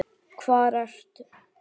Hvar ertu?